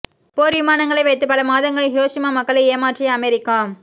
போர் விமானங்களை வைத்து பல மாதங்கள் ஹிரோஷிமா மக்களை ஏமாற்றிய அமெரிக்கா